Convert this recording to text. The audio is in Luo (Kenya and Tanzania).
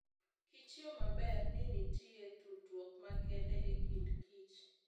Kichyo maber ni nitie tudruok makende e kind kich.